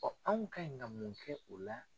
anw ka ɲi kan mun kɛ o la?